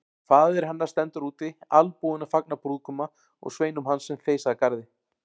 Faðir hennar stendur úti albúinn að fagna brúðguma og sveinum hans sem þeysa að garði.